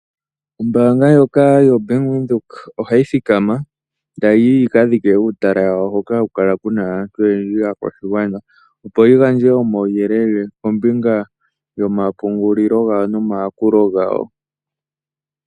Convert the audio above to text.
Ombanga ndjoka yo Bank Widheok ohayi thikama otayiti yikadhike uutala wawo hoka hakukala kuna aantu oyendji akwashingwana opo yigandje omawuyelele kombinga yomapungulilo ngawo nomakulo ngawo.